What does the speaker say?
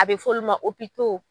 A bɛ f'ɔlu ma